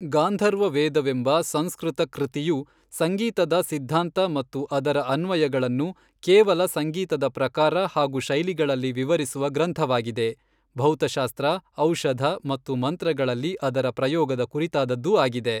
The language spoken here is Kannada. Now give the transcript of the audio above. ಗಾಂಧರ್ವ ವೇದವೆಂಬ ಸಂಸ್ಕೃತ ಕೃತಿಯು ಸಂಗೀತದ ಸಿದ್ಧಾಂತ ಮತ್ತು ಅದರ ಅನ್ವಯಗಳನ್ನು ಕೇವಲ ಸಂಗೀತದ ಪ್ರಕಾರ ಹಾಗು ಶೈಲಿಗಳಲ್ಲಿ ವಿವರಿಸುವ ಗ್ರಂಥವಾಗಿದೆ ಭೌತಶಾಸ್ತ್ರ, ಔಷಧ ಮತ್ತು ಮಂತ್ರಗಳಲ್ಲಿ ಅದರ ಪ್ರಯೋಗದ ಕುರಿತಾದದ್ದೂ ಆಗಿದೆ.